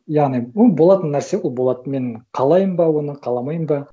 яғни ну болатын нәрсе ол болады мен қалаймын ба оны қаламаймын ба